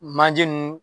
Manje nunnu